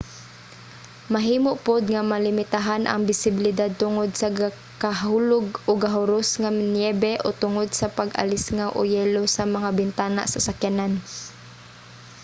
mahimo pod nga malimitahan ang bisibilidad tungod sa gakahulog o gahuros nga niyebe o tungod sa pag-alisngaw o yelo sa mga bintana sa sakyanan